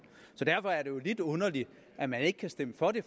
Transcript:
så derfor er det jo lidt underligt at man ikke kan stemme for det